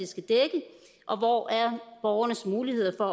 skal dække og hvor er borgernes muligheder